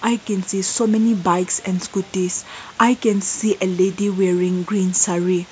we can see so many bikes and scooties i can see a lady wearing green saree.